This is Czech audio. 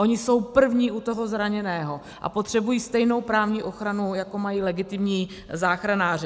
Oni jsou první u toho zraněného a potřebují stejnou právní ochranu, jako mají legitimní záchranáři.